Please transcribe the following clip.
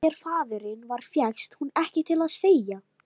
En hver faðirinn var fékkst hún ekki til að segja.